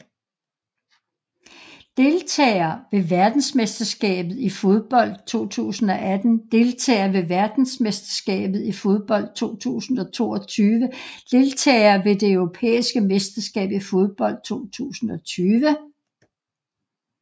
Deltagere ved verdensmesterskabet i fodbold 2018 Deltagere ved verdensmesterskabet i fodbold 2022 Deltagere ved det europæiske mesterskab i fodbold 2020